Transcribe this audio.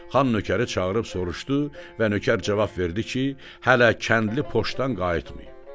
Xan nökəri çağırıb soruşdu və nökər cavab verdi ki, hələ kəndli poçdan qayıtmayıb.